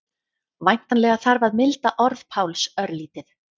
Væntanlega þarf að milda orð Páls örlítið.